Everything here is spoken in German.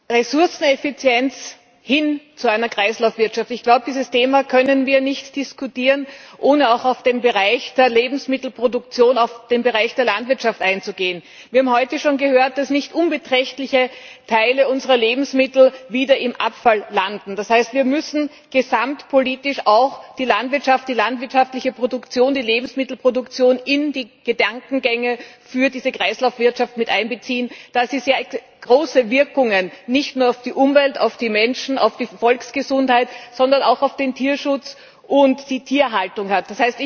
Sehr geehrter Herr Präsident, Herr Kommissar! Ressourceneffizienz hin zu einer Kreislaufwirtschaft Ich glaube, dieses Thema können wir nicht diskutieren, ohne auch auf den Bereich der Lebensmittelproduktion, auf den Bereich der Landwirtschaft einzugehen. Wir haben heute schon gehört, dass nicht unbeträchtliche Teile unserer Lebensmittel wieder im Abfall landen. Das heißt, wir müssen gesamtpolitisch auch die Landwirtschaft, die landwirtschaftliche Produktion, die Lebensmittelproduktion in die Gedankengänge für diese Kreislaufwirtschaft mit einbeziehen, da sie sehr große Wirkungen nicht nur auf die Umwelt, auf die Menschen und auf die Volksgesundheit, sondern auch auf den Tierschutz und die Tierhaltung hat.